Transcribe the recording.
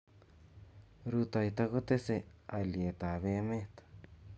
rutoito kotesei alyetap emet